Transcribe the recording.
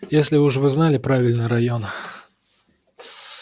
если уж вы знали правильный район